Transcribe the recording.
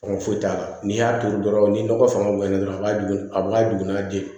Hɔn foyi t'a la n'i y'a turu dɔrɔn ni nɔgɔ fanga bonya na dɔrɔn a b'a dun a b'a dogo n'a den